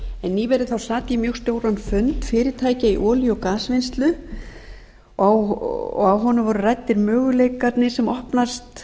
nýverið sat ég mjög stóran fund fyrirtækja í olíu og gasvinnslu og á honum voru ræddir möguleikarnir sem opnast